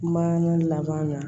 Ma laban na